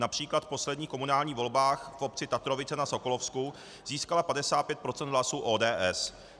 Například v posledních komunálních volbách v obci Tatrovice na Sokolovsku získala 55 % hlasů ODS.